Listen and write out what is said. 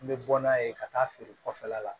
N bɛ bɔ n'a ye ka taa feere kɔfɛla la